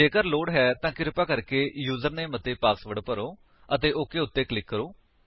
ਜੇਕਰ ਲੋੜ ਹੈ ਤਾਂ ਕਿਰਪਾ ਕਰਕੇ ਯੂਜਰਨੇਮ ਅਤੇ ਪਾਸਵਰਡ ਭਰੋ ਅਤੇ ਓਕ ਉੱਤੇ ਕਲਿਕ ਕਰੋ